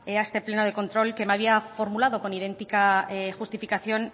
a este pleno de control que me había formulado con idéntica justificación